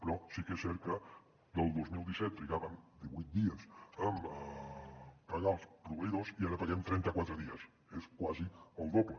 però sí que és cert que el dos mil disset trigàvem divuit dies a pagar els proveïdors i ara paguem a trenta quatre dies és quasi el doble